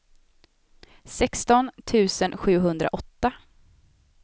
sexton tusen sjuhundraåtta